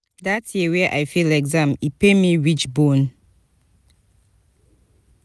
dat year wey i fail exam e pain me reach bone.